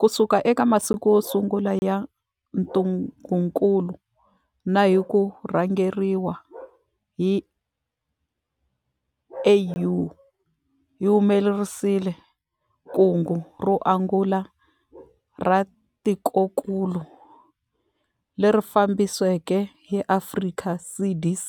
Kusuka eka masiku yo sungula ya ntungukulu na hi ku rhangeriwa hi AU, hi humelerisile kungu ro angula ra tikokulu, leri fambisiweke hi Afrika CDC